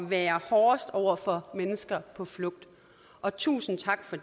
være hårdest over for mennesker på flugt og tusind tak for